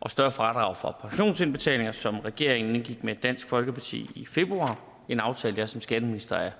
og større fradrag for pensionsindbetalinger som regeringen indgik med dansk folkeparti i februar en aftale jeg som skatteminister er